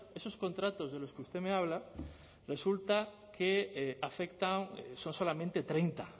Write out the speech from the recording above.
esos contratos de los que usted me habla resulta que afectan son solamente treinta